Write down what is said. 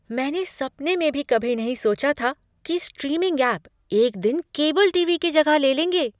मैंने सपने में भी कभी नहीं सोचा था कि स्ट्रीमिंग ऐप एक दिन केबल टीवी की जगह ले लेंगे।